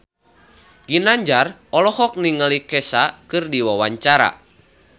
Ginanjar olohok ningali Kesha keur diwawancara